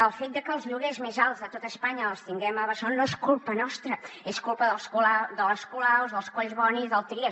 el fet de que els lloguers més alts de tot espanya els tinguem a barcelona no és culpa nostra és culpa de les colaus dels collboni del trias